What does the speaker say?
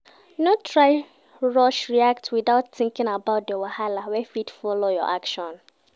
No try rush react without thinking about di wahala wey fit follow your actions